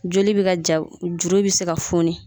Joli bɛ ka ja juru bɛ se ka foni.